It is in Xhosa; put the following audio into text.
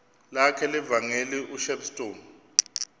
lakhe levangeli ushepstone